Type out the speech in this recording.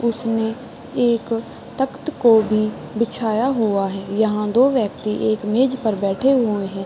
उसने एक तक्त को भी बिछाया हुआ है। यहाँ दो व्यक्ति एक मेज़ पर बैठे हुए हैं।